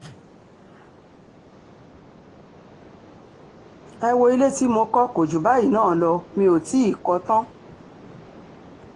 ẹ wọ ilé tí mo kọ́ kò jù báyìí náà lọ mi ò tì í kọ́ ọ tán